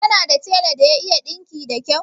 Kana da tela da ya iya ɗinki da kau?